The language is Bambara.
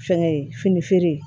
Fɛnkɛ ye fini feere